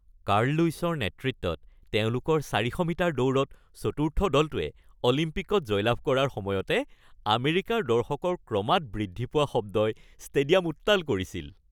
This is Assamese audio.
কাৰ্ল লুইছৰ নেতৃত্বত তেওঁলোকৰ চাৰিশ মিটাৰ দৌৰত চতুৰ্থ দলটোৱে অলিম্পিকত জয়লাভ কৰাৰ সময়তে আমেৰিকাৰ দৰ্শকৰ ক্ৰমাৎ বৃদ্ধি পোৱা শব্দই ষ্টেডিয়াম উত্তাল কৰিছিল।